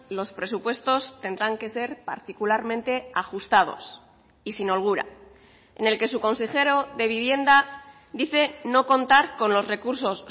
los presupuestos tendrán que ser particularmente ajustados y sin holgura en el que su consejero de vivienda dice no contar con los recursos